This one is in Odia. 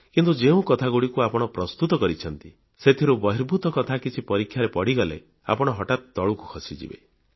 କିନ୍ତୁ ଯେଉଁ କଥାଗୁଡ଼ିକୁ ଆପଣ ପ୍ରସ୍ତୁତ କରିଛନ୍ତି ସେଥିରୁ ବହିର୍ଭୂତ କଥା କିଛି ପରୀକ୍ଷାରେ ପଡ଼ିଗଲେ ଆପଣ ହଠାତ୍ ତଳକୁ ଖସିଯିବେ